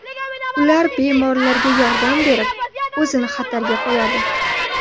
Ular bemorlarga yordam berib, o‘zini xatarga qo‘yadi.